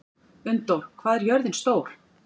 Unndór, hvað er jörðin stór?